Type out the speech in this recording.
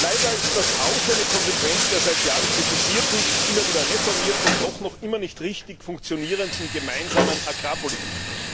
Leider ist das auch eine Konsequenz der seit Jahren kritisierten, immer wieder reformierten und doch noch immer nicht richtig funktionierenden gemeinsamen Agrarpolitik.